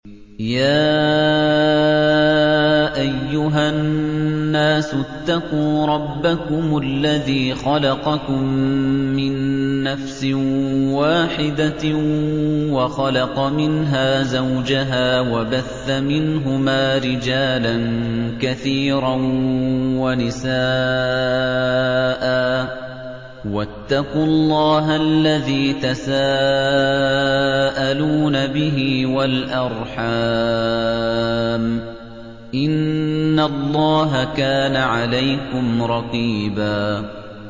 يَا أَيُّهَا النَّاسُ اتَّقُوا رَبَّكُمُ الَّذِي خَلَقَكُم مِّن نَّفْسٍ وَاحِدَةٍ وَخَلَقَ مِنْهَا زَوْجَهَا وَبَثَّ مِنْهُمَا رِجَالًا كَثِيرًا وَنِسَاءً ۚ وَاتَّقُوا اللَّهَ الَّذِي تَسَاءَلُونَ بِهِ وَالْأَرْحَامَ ۚ إِنَّ اللَّهَ كَانَ عَلَيْكُمْ رَقِيبًا